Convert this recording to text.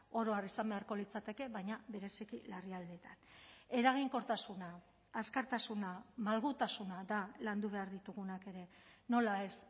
oro har izan beharko litzateke baina bereziki larrialdietan eraginkortasuna azkartasuna malgutasuna da landu behar ditugunak ere nola ez